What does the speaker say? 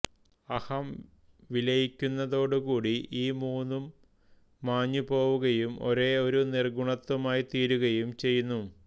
അഹം വിലയിക്കുന്നതോടുകൂടി ഈ മൂന്നും മാഞ്ഞു പോവുകയും ഒരേ ഒരു നിർഗുണത്വമായിത്തീരുകയും ചെയ്യുന്നു